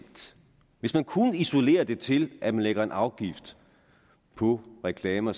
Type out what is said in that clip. hvis man kunne isolere det til at man lægger en afgift på reklamer